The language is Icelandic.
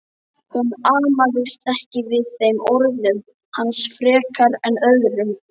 Hún amaðist ekki við þeim orðum hans frekar en öðrum.